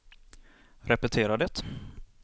repetera det